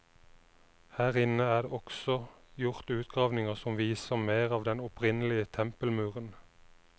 Her inne er det også gjort utgravninger som viser mer av den opprinnelige tempelmuren.